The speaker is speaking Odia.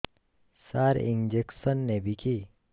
ସାର ଇଂଜେକସନ ନେବିକି